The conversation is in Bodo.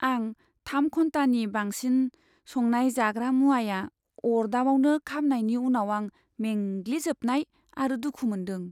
आं थाम घन्टानि बांसिन संनाय जाग्रा मुवाया अर्दाबावनो खामनायनि उनाव आं मेंग्लिजोबनाय आरो दुखु मोन्दों।